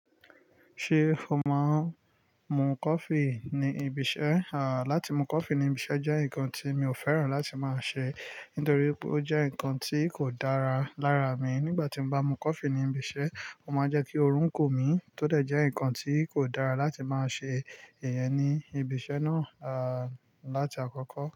Ṣé o máa ń mu coffee ní ibiṣẹ́? Àáà, láti mu coffee ní ibiṣẹ́ jẹ́ nǹkan tí mi ò fẹ́ràn láti máa ṣe nítorí pé ó jẹ́ nǹkan tí kò dára lára mi. Nígbà tí n bá mu coffee ní ibiṣẹ́, ó máa ń jẹ́ kí oorun kun mi, tódẹ̀ jẹ́ nǹkan tí kò dára láti máa ṣe. Ìyẹn ni ìbìṣẹ́ náà, láti àkọ́kọ́